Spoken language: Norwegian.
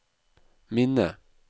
minne